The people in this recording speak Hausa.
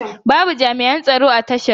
Babu jami'an tsaro a tashar.